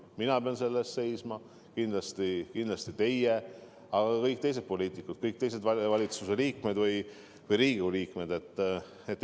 Mina pean selle eest seisma, aga kindlasti ka teie ja kõik teised poliitikud, valitsuse liikmed või Riigikogu liikmed, peavad selle eest seisma.